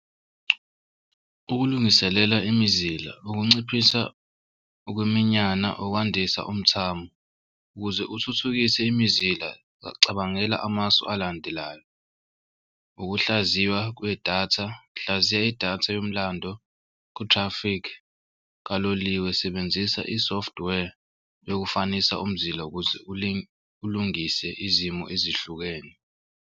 Ukulungiselela imizila ukunciphisa ukuminyana okwandisa umthamo ukuze uthuthukise imizila cabangela amasu alandelayo ukuhlaziywa kwedatha. Hlaziya idatha yomlando ku-traffic kaloliwe sebenzisa i-software ekufanisa umzila ukuze ulungise izimo ezihlukene.